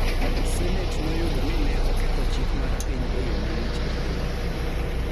Senate noyudo ni ne oketho chik marpiny e yo malich ahinya,